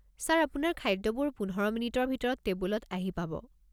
Sir, আপোনাৰ খাদ্যবোৰ পোন্ধৰ মিনিটৰ ভিতৰত টেবুলত আহি পাব।